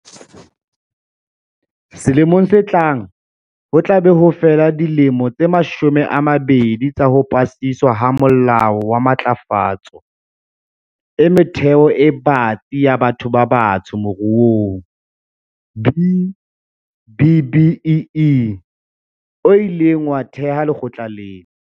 Selemong se tlang, ho tla be ho fela dilemo tse mashome a mabedi tsa ho pasiswa ha Molao wa Matlafatso e Metheo e Batsi ya Batho ba Batsho Moruong, B-BBEE o ileng wa theha lekgotla lena.